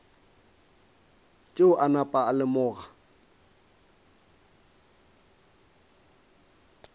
tšeo a napa a lemoga